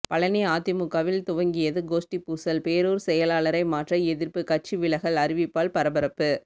பழநி அதிமுகவில் துவங்கியது கோஷ்டி பூசல் பேரூர் செயலாளரை மாற்ற எதிர்ப்பு கட்சி விலகல் அறிவிப்பால் பரபரப்பு